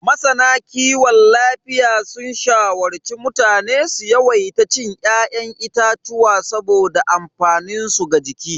Masana kiwon lafiya sun shawarci mutane su yawaita cin ya'yan itatuwa saboda amfaninsu ga jiki.